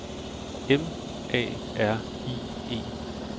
M A R I E